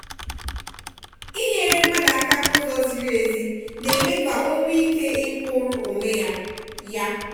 inyere mmadụ aka n'ụzọ ziri ezi na-eme ka o nwee ike ikwụrụ onwe ya. ya.